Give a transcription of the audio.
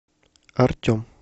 артем